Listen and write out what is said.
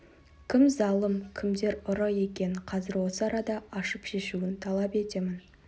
кім залым кімдер ұры екенін қазір осы арада ашып шешуін талап етемін